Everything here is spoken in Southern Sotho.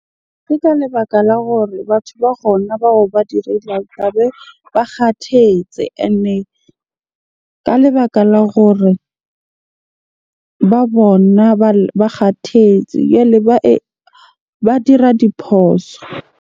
Ke ka lebaka la gore batho ba bao ba tlabe ba kgathetse. Ene ka lebaka la gore ba bona ba kgathetse jwale ba dira diphoso.